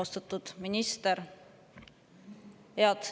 Austatud minister!